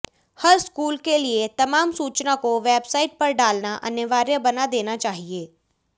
हर school के लिए तमाम सूचना को वेबसाइट पर डालना अनिवार्य बना देना चाहिए